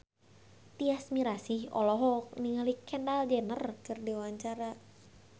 Tyas Mirasih olohok ningali Kendall Jenner keur diwawancara